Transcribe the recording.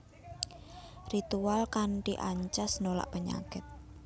Ritual kanthi ancas nolak penyakit